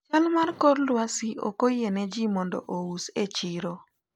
chal mar kor lwasi ok oyie ne ji mondo ous e chiro